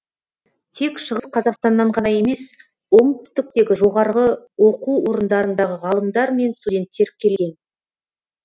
тек шығыс қазақстаннан ғана емес оңтүстіктегі жоғарғы оқу орындарындағы ғалымдар мен студенттер келген